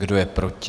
Kdo je proti?